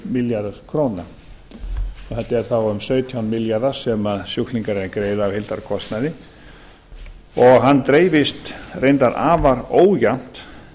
milljarður króna og þetta eru þá um sautján milljarðar sem sjúklingar eiga að greiða af heildarkostnaði og hann dreifist reyndar afar ójafnt